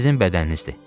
Sizin bədəninizdir.